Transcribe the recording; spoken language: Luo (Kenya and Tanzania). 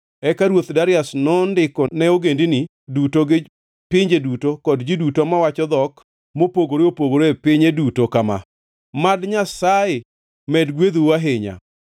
Eka ruoth Darius nondiko ne ogendini duto, gi pinje duto kod ji duto mawacho dhok mopogore opogore e piny duto kama: “Mad Nyasaye med gwedhou ahinya!”